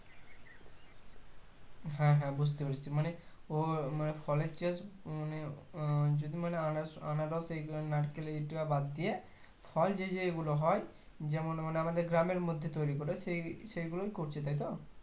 হ্যাঁ হ্যাঁ বুজতে পেরেছি মানে ওই মানে ফলের চাষ মানে আহ যদি মানে আ আনারস নারকেল এগুলো বাদ দিয়ে ফল যেই যেগুলো হয় যেমন মানে আমাদের গ্রামের মধ্যে তৈরি করে সেই সেগুলো করছে তাই তো